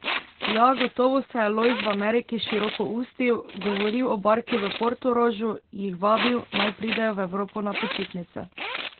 Ja, gotovo se je Lojz v Ameriki širokoustil, govoril o barki v Portorožu, jih vabil, naj pridejo v Evropo na počitnice.